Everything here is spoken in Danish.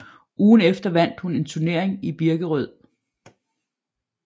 Ugen efter vandt hun en turnering i Birkerød